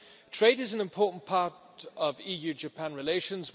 Trade is an important part of EU Japan relations